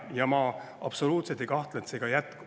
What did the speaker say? Ja ma absoluutselt ei kahtle selles, et see ka jätkub.